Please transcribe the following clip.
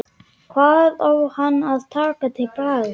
Hvað á hann að taka til bragðs?